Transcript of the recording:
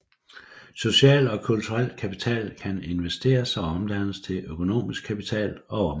Social og kulturel kapital kan investeres og omdannes til økonomisk kapital og omvendt